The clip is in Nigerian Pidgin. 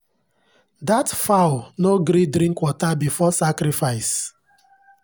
that fowl no gree drink water before sacrifice.